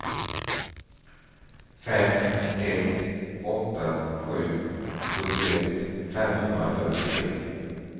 fem ett åtta sju sjuttioett femhundrafyrtiotre